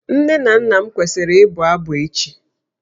Nne na nna m kwesịrị ịbụ abụ echi